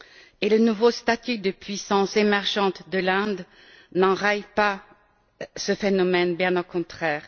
Et le nouveau statut de puissance émergente de l'Inde n'enraye pas ce phénomène, bien au contraire.